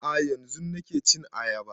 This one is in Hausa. A'a yanzun nake cin ayaba